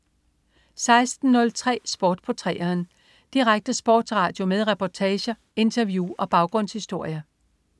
16.03 Sport på 3'eren. Direkte sportsradio med reportager, interview og baggrundshistorier